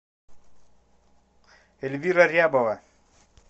эльвира рябова